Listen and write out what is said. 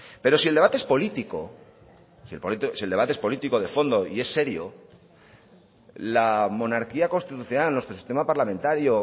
pero si el debate es político si el debate es político de fondo y es serio la monarquía constitucional nuestro sistema parlamentario